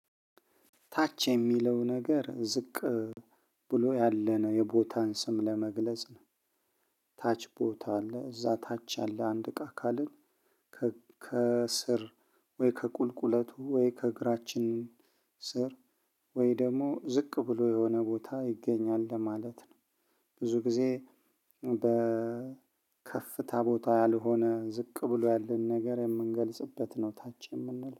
ታች የሚለው ነገር ዝቅ ብሎ ያለን የቦታን ስም ለመግለጽ ነው። ታች ቦታ አለ እዛ ታች አለ አንድ እቃ ካልን። ከስር ወይ ከቁልቁለቱ ወይ ከእግራችን ስር ወይ ደግሞ ዝቅ ብሎ የሆነ ቦታ ይገኛል እንደ ማለት ነው። ብዙ ጊዜ በከፍታ ቦታ ያልሆነ ዝቅ ብሎ ያለን ነገር የምንገልጽበት ነው ታች የምንለው